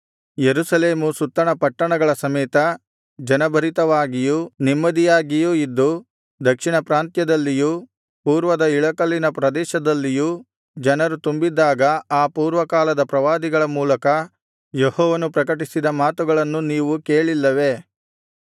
ಯೆರೂಸಲೇಮು ಸುತ್ತಣ ಪಟ್ಟಣಗಳ ಸಮೇತ ಜನಭರಿತವಾಗಿಯೂ ನೆಮ್ಮದಿಯಾಗಿಯೂ ಇದ್ದು ದಕ್ಷಿಣ ಪ್ರಾಂತ್ಯದಲ್ಲಿಯೂ ಪೂರ್ವದ ಇಳಕಲಿನ ಪ್ರದೇಶದಲ್ಲಿಯೂ ಜನರು ತುಂಬಿದ್ದಾಗ ಆ ಪೂರ್ವಕಾಲದ ಪ್ರವಾದಿಗಳ ಮೂಲಕ ಯೆಹೋವನು ಪ್ರಕಟಿಸಿದ ಮಾತುಗಳನ್ನು ನೀವು ಕೇಳಿಲ್ಲವೇ